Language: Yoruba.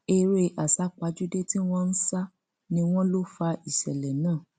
eré àsápajúdé tí wọn ń sá ni wọn lọ fa ìṣẹlẹ náà